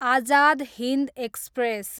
Azad Hind express